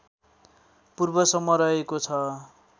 पूर्वसम्म रहेको छ